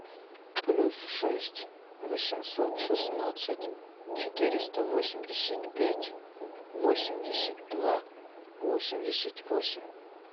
плюс шесть восемьсот шестнадцать четыреста восемьдесят пять восемьдесят два восемьдесят восемь